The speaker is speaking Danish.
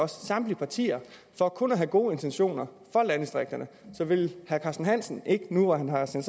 samtlige partier for kun at have gode intentioner for landdistrikterne så vil herre carsten hansen ikke nu hvor han har sendt